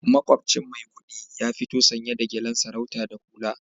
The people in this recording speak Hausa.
Makwabcin Maikudi ya fito sanye da gyalen sarauta da hula